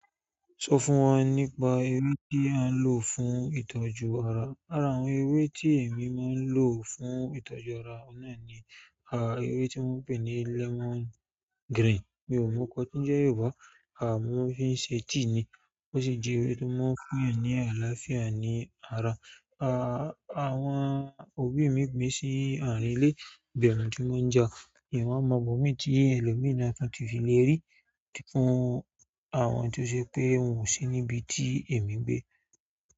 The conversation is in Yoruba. Sọ fún wọn nípa ewé tí a ń lò fún ìtọ́jú ara. Lárá, àwọn ewé tí èmi máa ń lò fún ìtọ́jú ara, náà ni ewé tí wọ́n ń pè ní lemon green. Mi ò mọ kọ́ to ń jẹ́ Yorùbá. Mo maa n fi se tea ni o su je ewe to maa n fún yan ni ìgbádùn. Àà, àwọn òbí mi pé sí àárín ilé. Ìbẹ̀ na ti maa ń ja mì wa mọ ibomi ti ẹ̀lọ́mi náà tán tí fi lérí. Fún àwọn to se pe won o si nibi ti emi n gbe.